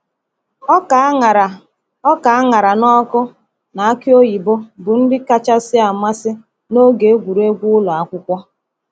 Ọka a ṅara Ọka a ṅara n’ọkụ na aki oyibo bụ nri kacha amasị n’oge egwuregwu ụlọ akwụkwọ.